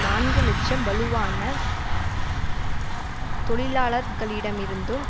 நான்கு இலட்சம் வலுவான தொழிலாளர்களிடமிருந்தும்